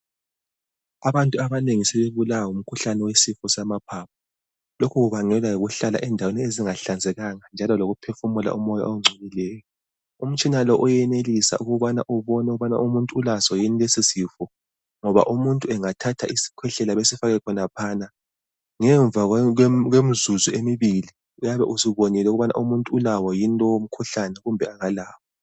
Abantu abanengi sebebulawa ngumkhuhlane wesifo samaphaphu. Lokhu kubangelwa yikuhlala endaweni ezingahlanzekanga njalo lokuphefumula umoya ongcolileyo. Umtshina lo uyenelisa ukubana ubone ukubana umuntu ulaso yini leso sifo ngoba umuntu engathatha isikhwehlela esifake khonaphana ngemva kwemizuzu emibili uyabe usubonile ukubana umuntu ulawo lowo mkhuhlane kumbe akalawo.